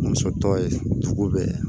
Muso tɔ ye dugu bɛɛ ye